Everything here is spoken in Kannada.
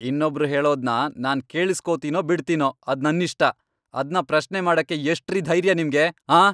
ಇನ್ನೊಬ್ರ್ ಹೇಳೋದ್ನ ನಾನ್ ಕೇಳುಸ್ಕೊತೀನೋ ಬಿಡ್ತೀನೋ ಅದ್ ನನ್ನಿಷ್ಟ, ಅದ್ನ ಪ್ರಶ್ನೆ ಮಾಡಕ್ಕೆ ಎಷ್ಟ್ರೀ ಧೈರ್ಯ ನಿಮ್ಗೆ, ಆಂ?